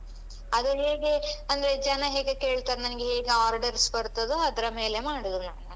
ಅದು ಹೇಗೆ ಅಂದ್ರೆ ಜನ ಹೇಗೆ ಕೇಳ್ತಾರೆ ನನ್ಗೆ ಹೇಗೆ order ಬರ್ತದೋ ಅದರ ಮೇಲೆ ಮಾಡುದು ನಾನು.